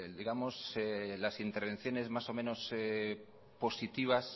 las intervenciones más o menos positivas